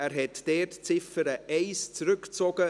Er hat dort die Ziffer 1 zurückgezogen.